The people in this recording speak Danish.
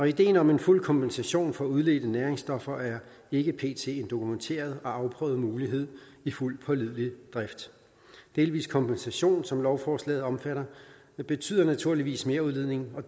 ideen om fuld kompensation for udledte næringsstoffer er ikke pt en dokumenteret og afprøvet mulighed i fuld pålidelig drift delvis kompensation som lovforslaget omtaler betyder naturligvis merudledning og